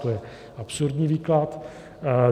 To je absurdní výklad.